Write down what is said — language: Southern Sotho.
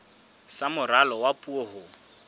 sa moralo wa puo ho